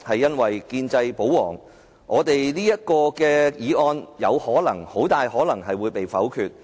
因為建制派保皇，這項議案很大可能會被否決。